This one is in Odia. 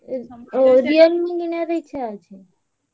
Realme କିଣିବାକୁ ଇଛା ଅଛି?